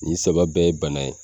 Ni saba bɛɛ ye bana ye.